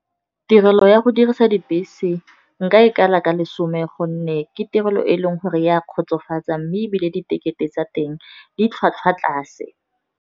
Tirelo ya go dirisa dibese nka e kala ka lesome gonne ke tirelo e e leng gore e a kgotsofatsa, mme ebile di tekete tsa teng di tlhwatlhwa tlase.